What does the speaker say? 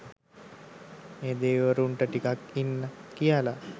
ඒ දෙවිවරුන්ට ටිකක් ඉන්න කියලා